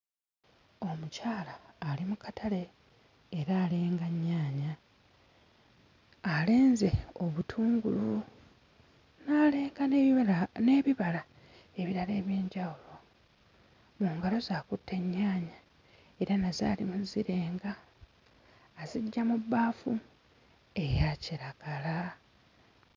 Omukyala ali mu katale era alenga nnyaanya alenze obutungulu n'aleeka n'ebibala n'ebibala ebirala eby'enjawulo mu ngalo ze akutte ennyaanya era nazo ali mu zzirenga aziggya mu bbaafu eya kiragala.